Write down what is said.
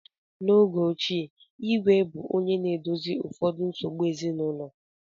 N’oge ochie, Igwe bụ onye na-edozi ụfọdụ nsogbu ezinụlọ.